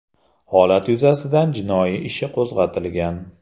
Holat yuzasidan jinoiy ishi qo‘zg‘atilgan.